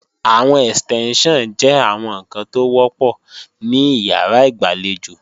Àwọn Ẹ̀stẹ́ńṣàn jẹ́ àwọn ǹkan tó wọ́pọ̀ ní ìyàrá ìgbàlejò